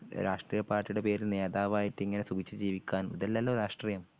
രാഷ്ട്രീയ പാർട്ടിയുടെ പേരിൽ നേതാവായിട്ട് ഇങ്ങനെ സുഖിച്ച് ജീവിക്കാനും ഇതല്ലല്ലോ രാഷ്ട്രീയം